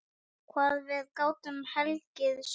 Hvað við gátum hlegið saman.